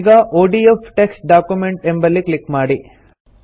ಈಗ ODF text document ಎಂಬಲ್ಲಿ click ಮಾಡಿ